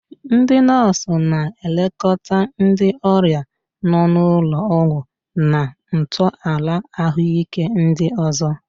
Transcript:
Ndị nọọsụ na-elekọta ndị ọrịa nọ n'ụlọ ọgwụ na ntọala ahụike ndị ọzọ.